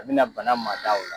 A bi na bana maa da ola